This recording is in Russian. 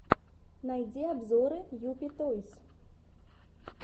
найди обзоры юпи тойс